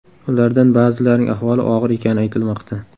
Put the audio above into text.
Ulardan ba’zilarining ahvoli og‘ir ekani aytilmoqda.